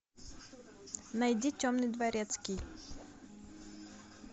найди темный дворецкий